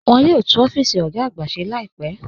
Wọ́n yóò túún ọ̀fíìsì ogá àgbà ṣè láìpẹ́.